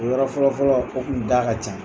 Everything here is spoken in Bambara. O yɔrɔ fɔlɔ fɔlɔ , o tun da ka ca.